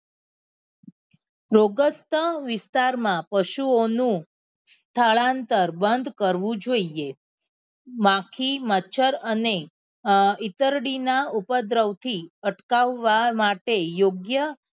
રોગષ્ટ વિસ્તાર માં પશુ ઓ નું સ્થળાંતર બંદ કરવું જોઈએ બાકી મચ્છર અને ઇતરડી ના ઉપદ્રવ થી અટકાવવા માટે યોગ્ય